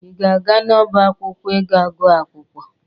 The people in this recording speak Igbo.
Ị ga-aga n'ọba akwụkwọ ịga gụọ akwụkwọ?